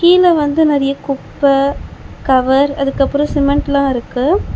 கீழ வந்து நெறைய குப்ப கவர் அதுக்கப்றோ சிமெண்ட்லா இருக்கு .